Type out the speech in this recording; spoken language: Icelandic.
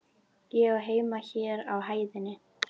Ég á heima hér á hæðinni.